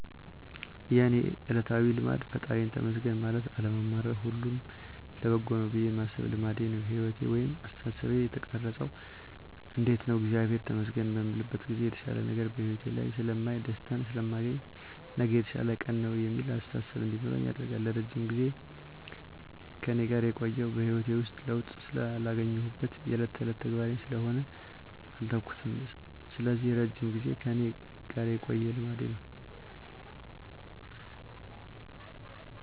የእኔ እለታዊ ልማዴ ፈጣሪየን ተመስገን ማለት አለማማረር ሁሉም ለበጎ ነው ብየ ማሰብ ልማዴ ነው። ህይወቴን ወይንም አስተሳሰቤን የቀረፀው እንዴት ነው እግዚአብሔርን ተመስገን በምልበት ጊዜ የተሻለ ነገር በህይወቴ ላይ ስለማይ፣ ደስታን ስለማገኝ፣ ነገ የተሻለ ቀን ነው የሚል አስተሳሰብ እንዲኖረኝ ያደርጋል። ለረጅም ጊዜ ከእኔ ጋር የቆየው በህይወቴ ውስጥ ለውጥ ስላገኘሁበት የእለት ተእለት ተግባሬ ስለሆነ አልተውኩትም ስለዚህ እረጅም ጊዜን ከእኔ ጋር የቆየ ልማዴ ነው።